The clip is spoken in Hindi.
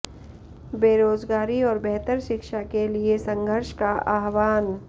बेरोज़गारी और बेहतर शिक्षा के लिए संघर्ष का आह्वान